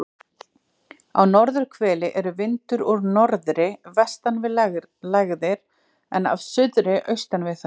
Á norðurhveli er vindur úr norðri vestan við lægðir en af suðri austan við þær.